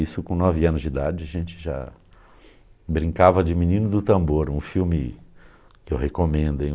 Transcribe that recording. Isso com nove anos de idade, a gente já brincava de Menino do Tambor, um filme que eu recomendo, hein?